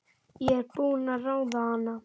Ég er búin að ráða hana!